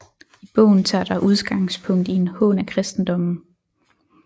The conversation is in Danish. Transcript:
I bogen tages der udgangspunkt i en hån af kristendommen